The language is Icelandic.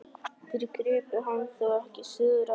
Þeir gripu hann þó ekki syðra?